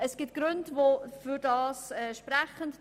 Es gibt Gründe, die dafür sprechen.